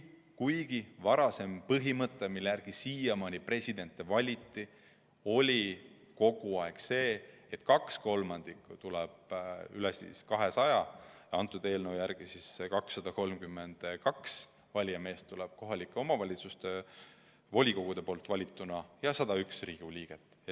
Kuid varasem põhimõte, mille järgi siiamaani presidenti valiti, oli kogu aeg see, et kaks kolmandikku ehk üle 200 valijamehe tuleb kohalike omavalitsuste volikogude valituna ja neile lisandub 101 Riigikogu liiget.